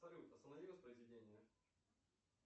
салют останови воспроизведение